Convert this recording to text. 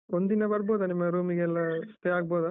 ಒಂದಿನ ಬರ್ಬೋದ ನಿಮ್ಮ room ಗೆಲ್ಲ stay ಆಗ್ಬೋದ.